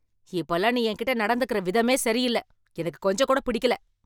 இப்போல்லாம் நீ என்கிட்ட நடந்துக்குற விதமே சரியில்ல, எனக்கு கொஞ்சம் கூடப் பிடிக்கல.